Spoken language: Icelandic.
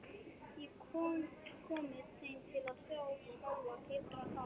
Og komið þeim til að þá skjálfa, titra, tapa sér?